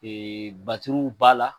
Ɛɛ b'a la